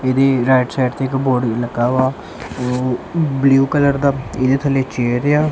ਇਹਦੀ right side ਤੇ ਇੱਕ ਬੋਰਡ ਵੀ ਲੱਗਾ ਵਾ ਜੋ ਬਲੂ ਕਲਰ ਦਾ ਇਹਦੇ ਥੱਲੇ ਚੇਅਰ ਆ।